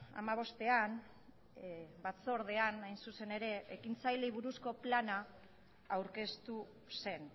hamabostean batzordean hain zuzen ere ekintzaileei buruzko plana aurkeztu zen